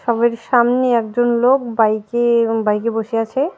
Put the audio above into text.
সবের সামনে একজন লোক বাইকে এবং বাইকে বসে আছে .